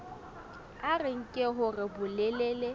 a re nke hore bolelele